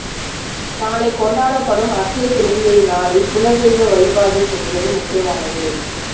நாளை கொண்டாடப்படும் அட்சய திருதியை நாளில் குலதெய்வ வழிபாடு செய்வதும் முக்கியமானது